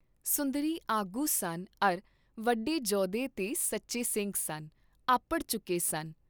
ਸੁੰਦਰੀ ਆਗੂ ਸਨ ਅਰ ਵੱਡੇ ਜੋਧੇ ਤੇ ਸਚੇ ਸਿੰਘ ਸਨ, ਅੱਪੜ ਚੁਕੇ ਸਨ।